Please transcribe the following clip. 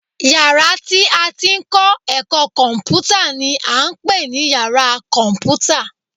Yàrá tí a ti ń kọ́ ẹ̀kọ́ kọ̀m̀pútà ni à ń pè ní yàra kọ̀m̀pútà